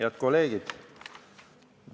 Head kolleegid!